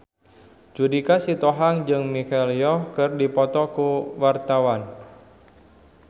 Judika Sitohang jeung Michelle Yeoh keur dipoto ku wartawan